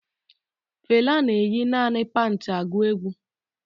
Fela na-eyi naanị pantị agụ egwu